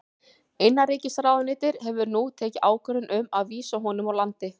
Innanríkisráðuneytið hefur nú tekið ákvörðun um að vísa honum úr landi.